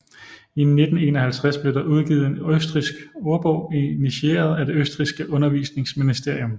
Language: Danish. I 1951 blev der udgivet en østrigsk ordbog initieret af det østrigske undervisningsministerium